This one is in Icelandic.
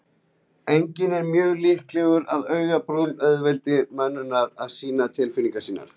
Einnig er mjög líklegt að augabrúnir auðveldi mönnum að sýna tilfinningar sínar.